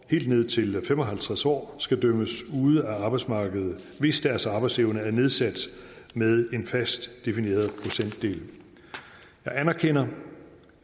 helt ned til fem og halvtreds år skal dømmes ude af arbejdsmarkedet hvis deres arbejdsevne er nedsat med en fast defineret procentdel jeg anerkender